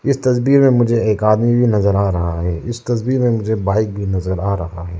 इस तस्वीर मे मुझे एक आदमी भी नजर आ रहा है इस तस्वीर मे मुझे बाइक भी नजर आ रहा है।